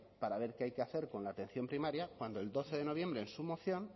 para ver qué hay que hacer con la atención primaria cuando el doce de noviembre en su moción